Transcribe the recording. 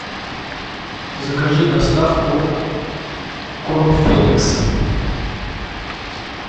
закажи доставку корм феликс